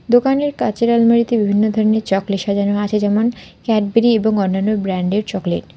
দোকানের কাঁচের আলমারিতে বিভিন্ন ধরনের চকলেট সাজানো আছে যেমন ক্যাডবেরি এবং অন্যান্য ব্র্যান্ডের চকলেট ।